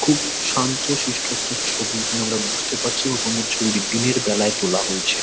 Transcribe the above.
খুব শান্ত-শিষ্ট একটা ছবি এখানে আমরা বুঝতে পারছি এবং সম্ভবত ছবিটি দিনের বেলায় তোলা হয়েছে।